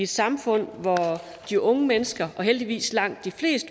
samfund hvor de unge mennesker heldigvis langt de fleste